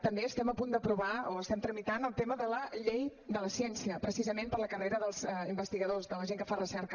també estem a punt d’aprovar o estem tramitant el tema de la llei de la ciència precisament per la carrera dels investigadors de la gent que fa recerca